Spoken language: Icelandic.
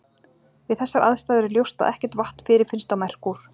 við þessar aðstæður er ljóst að ekkert vatn fyrirfinnst á merkúr